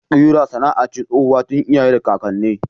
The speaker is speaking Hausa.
Kira sana'a ce tsohuwa tun iyaye da kakanni.